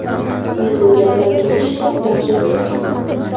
Men bu gaplarni eshitib, dahshatga tushdim.